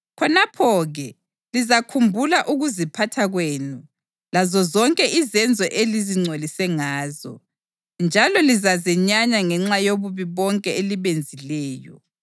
Khonapho-ke lizakhumbula ukuziphatha kwenu lazozonke izenzo elizingcolise ngazo, njalo lizazenyanya ngenxa yobubi bonke elibenzileyo.